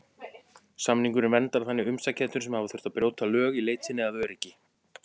Samningurinn verndar þannig umsækjendur sem hafa þurft að brjóta lög í leit sinni að öryggi.